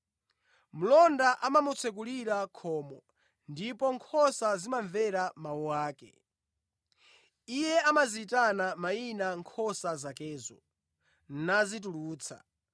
Mlonda amamutsekulira khomo, ndipo nkhosa zimamvera mawu ake. Iye amaziyitana mayina nkhosa zakezo, nazitulutsa.